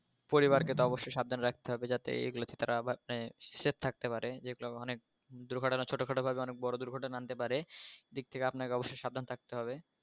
পরিবারকেতো অবশ্যই সাবধানে রাখতে হবে যাতে এগুলাতে তারা আবার safe থাকতে পারে যেগুলো অনেক দূর্ঘটনা ছোটোখাটো ভাবে অনেক বড়ো দূর্ঘটনা আনতে পারে এদিক থেকে অবশ্যই আপনাকে সাবধান থাকতে হবে